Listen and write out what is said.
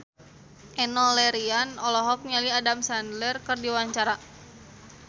Enno Lerian olohok ningali Adam Sandler keur diwawancara